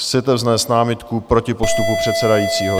Chcete vznést námitku proti postupu předsedajícího.